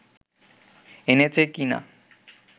এনেছে কিনা